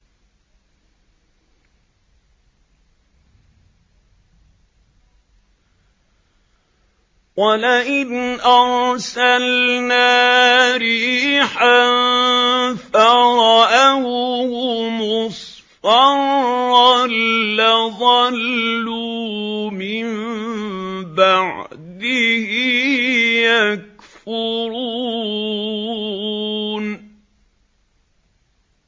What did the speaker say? وَلَئِنْ أَرْسَلْنَا رِيحًا فَرَأَوْهُ مُصْفَرًّا لَّظَلُّوا مِن بَعْدِهِ يَكْفُرُونَ